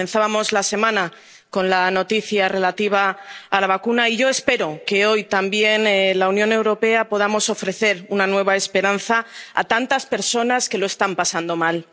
Comenzábamos la semana con la noticia relativa a la vacuna y yo espero que hoy, también, la Unión Europea pueda ofrecer una nueva esperanza a tantas personas que lo están pasando mal.